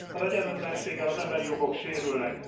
Az egyenlőtlenséggel az emberi jogok sérülnek.